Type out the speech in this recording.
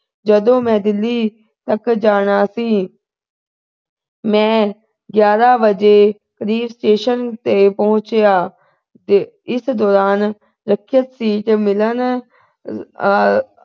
ਜਦੋਂ ਮੈਂ delhi ਤੱਕ ਜਾਣਾਂ ਸੀ ਮੈ ਗਿਆਰਾਂ ਵਜੇ station ਤੇ ਪਹੁੰਚਿਆ ਤੇ ਇਸ ਦੌਰਾਨ ਸੁਰੱਖਿਅਤ ਸੀ ਕਿ ਮਿਲਣ ਅਹ